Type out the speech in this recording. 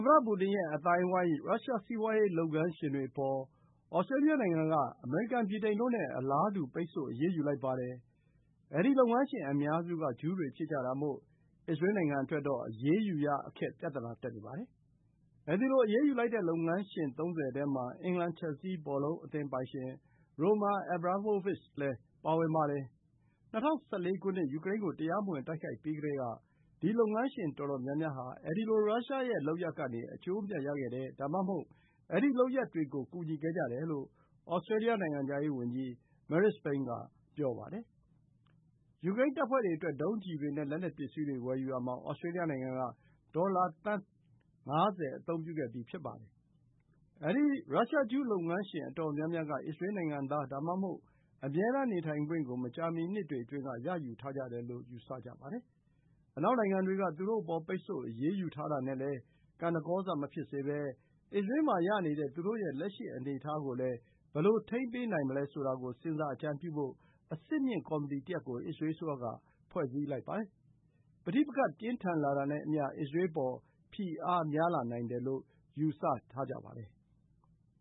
မတ ပူတင် ရဲ့ အသင်းအဝိုင်း ရုရှား စီးပွါးရေး လုပ်ငန်းရှင်တွေ အပေါ် Australia နိုင်ငံ က အမေရိကန်၊ ဗြိတိန်တို့ နဲ့ အလားတူ ပိတ်ဆို့ အရေးယူလိုက်ပါတယ်။ အဲဒီ လုပ်ငန်းရှင်အများစုက ဂျူးတွေဖြစ်ကြတာမို့ အစ္စရေးနိုင်ငံ အတွက်တော့ အရေးယူရ အခက် ပြဿနာ တက်နေပါတယ်။ အဲဒီလို အရေးယူလိုက်တဲ့ လုပ်ငန်းရှင် ၃၀ ထဲမှာ အင်္ဂလန် ချယ်ဆီး ဘော်လုံးအသင်း ပိုင်ရှင် Roman Abramovich လည်း ပါဝင်ပါတယ်။ ၂၀၁၄ ခုနှစ် ယူကရိန်း ကို တရားမဝင် တိုက်ခိုက်ပြီးကတည်း ဒီ လုပ်ငန်းရှင် တော်တော်များများ ဟာ အဲဒီလို ရုရှား ရဲ့ လုပ်ရပ် ကနေ အကျိုးအမြတ် ရခဲ့တယ် ဒါမှမဟုတ် အဲဒီ လုပ်ရပ်တွေ ကို ကူညီခဲ့ကြတယ်လို့ Australia နိုင်ငံခြားရေး ဝန်ကြီး Marise Payne က ဆိုပါတယ်။ ယူကရိန်းတပ်ဖွဲ့တွေ အတွက် ဒုံးကျည်တွေ နဲ့ လက်နက်ပစ္စည်းတွေ ဝယ်ယူရာမှာ Australia နိုင်ငံက ဒေါ်လာသန်း ၅၀ အသုံးပြုခဲ့ပြီး ဖြစ်ပါတယ်။ အဲဒီ ရုရှား ဂျူး လုပ်ငန်းရှင်အတော်များများက အစ္စရေး နိုင်ငံသား ဒါမှမဟုတ် အမြဲတမ်း နေထိုင်ခွင့် ကို မကြာမီနှစ်တွေအတွင်းက ရယူထားကြတယ်လို့ ယူဆကြပါတယ်။ အနောက်နိုင်ငံတွေ က သူတို့ အပေါ် ပိတ်ဆို့ အရေးယူထားတာ နဲ့လည်း ကဏ္ဍကောစ မဖြစ်စေဘဲ၊ အစ္စရေး မှာ ရနေတဲ့ သူတို့ရဲ့ လက်ရှိ အနေအထား ကိုလည်း ဘယ်လို ထိန်းပေးနိုင်မလဲ ဆိုတာ ကို စဉ်းစား အကြံပြုဖို့ အဆင့်မြင့် ကော်မီတီတစ်ရပ် ကို အစ္စရေး အစိုးရ က ဖွဲ့စည်းလိုက်ပါတယ်။ ပဋိပက္ခ ပြင်းထန်လာတာနဲ့အမျှ အစ္စရေး အပေါ် ဖိအားများလာနိုင်တယ်လို့ ယူဆကြပါတယ်။